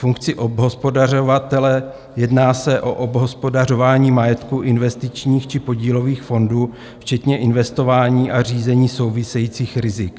Funkce obhospodařovatele: Jedná se o obhospodařování majetku investičních či podílových fondů včetně investování a řízení souvisejících rizik.